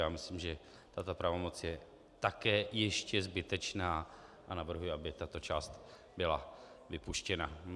Já myslím, že tato pravomoc je také ještě zbytečná, a navrhuji, aby tato část byla vypuštěna.